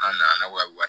An nana wari